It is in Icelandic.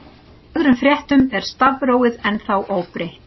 Af öðrum fréttum er stafrófið ennþá óbreytt.